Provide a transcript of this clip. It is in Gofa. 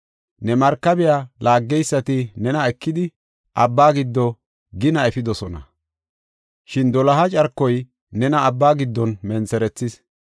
Ne markabiya laaggeysati nena ekidi, abba giddo gina efidosona; shin doloha carkoy nena abba giddon mentherethis.